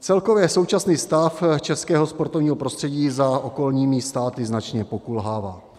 Celkově současný stav českého sportovního prostředí za okolními státy značně pokulhává.